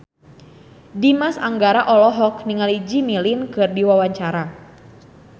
Dimas Anggara olohok ningali Jimmy Lin keur diwawancara